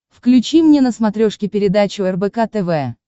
включи мне на смотрешке передачу рбк тв